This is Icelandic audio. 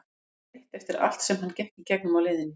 Lífið er breytt eftir allt sem hann gekk í gegnum á leiðinni.